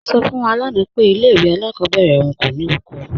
Lọla sọ fún wá lánà pé ilẹ̀ ìwé alákọbèrè ọ̀un kò ní oko.